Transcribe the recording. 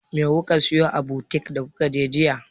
Me kuka siyo a butik da kuka je jiya?